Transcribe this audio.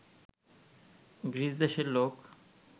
গ্রীসদেশের লোক